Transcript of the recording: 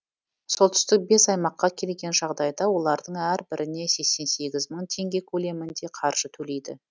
солтүстік бес аймаққа келген жағдайда олардың әрбіріне сексен сегіз мың теңге көлемінде қаржы төлейді